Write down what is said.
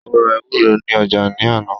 ó ra ewúrẹ́ ní ọjà ní àná